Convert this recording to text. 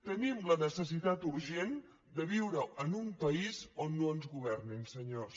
tenim la necessitat urgent de viure en un país on no ens governin senyors